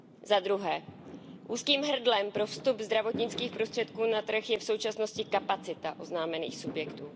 Za druhé, úzkým hrdlem pro vstup zdravotnických prostředků na trh je v současnosti kapacita oznámených subjektů.